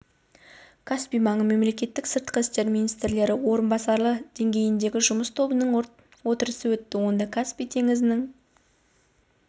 каспий маңы мемлекеттері сыртқы істер министрлері орынбасарлары деңгейіндегі жұмыс тобының отырысы өтті онда каспий теңізінің